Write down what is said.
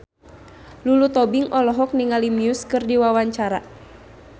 Lulu Tobing olohok ningali Muse keur diwawancara